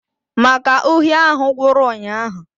Màkà uhie ahụ gwụrụ ụnyaahụ